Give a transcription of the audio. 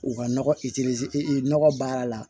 U ka nɔgɔ nɔgɔ baara la